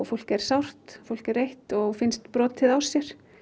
fólk er sárt fólk er reitt og finnst vera brotið á sér